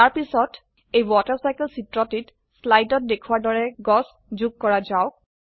তাৰ পিছত এই ৱাটাৰ চাইকেল জল চক্ৰ চিত্ৰটিত স্লাইডত দেখোৱাৰ দৰে গাছ যোগ কৰা যাওক